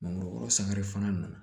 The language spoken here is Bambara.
Mangoro sangare fana nana